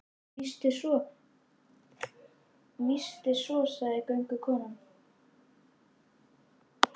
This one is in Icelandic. Víst er svo, víst er svo, sagði göngukonan.